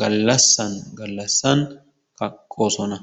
gallassan gallassan kaqqoosona.